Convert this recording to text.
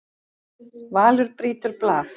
Valur brýtur blað